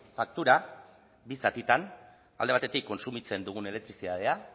faktura bi zatitan alde batetik kontsumitzen dugun elektrizitatea